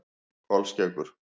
Kolskeggur